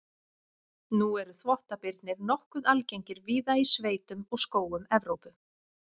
Nú eru þvottabirnir nokkuð algengir víða í sveitum og skógum Evrópu.